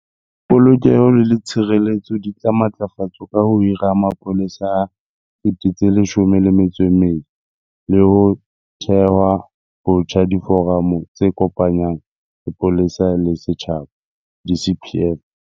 Polokeho le tshireletso di tla matlafatswa ka ho hirwa ha mapolesa a 12 000 le ho theha botjha diforamo tse kopanyang sepolesa le setjhaba di-CPF.